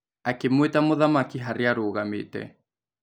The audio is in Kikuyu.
Akĩmwĩta mũthamaki harĩa arũgamĩte